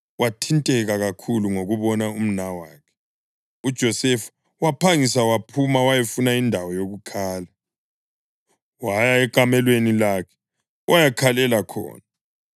Wathinteka kakhulu ngokubona umnawakhe, uJosefa waphangisa waphuma wayafuna indawo yokukhala. Waya ekamelweni lakhe wayakhalela khona.